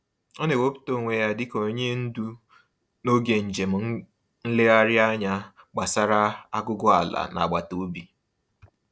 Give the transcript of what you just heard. Ọ na-ewepụta onwe ya dị ka onye ndu n'oge njem nlegharịanya gbasara aguguala n'agbataobi.